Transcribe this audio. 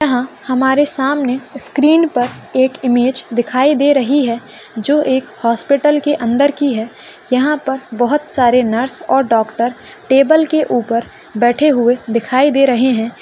यह हमारे सामने स्क्रीन पर एक इमेज दिखाई दे रही है जो एक हॉस्पिटल के अंदर की है यहा पर बहुत सारे नर्स और डॉक्टर टेबल के ऊपर बैठे हुए दिखाई दे रहे है।